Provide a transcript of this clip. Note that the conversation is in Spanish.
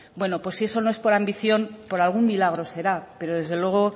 bueno pues si eso no es por ambición por algún milagro será pero desde luego